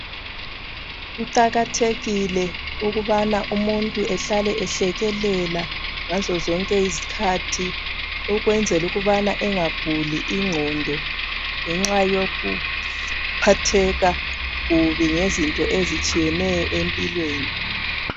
Kuqakathekile ukubana umuntu ehlale ehlekelela ngazo zonke izikhathi ukwenzela ukubana engaguli ingqondo ngenxa yokuphatheka kubi ngezinto ezitshiyeneyo empilweni